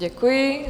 Děkuji.